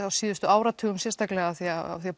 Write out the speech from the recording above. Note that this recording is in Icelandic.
á síðustu áratugum sérstaklega af því að